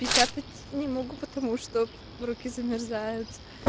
печатать не могу потому что руки замерзают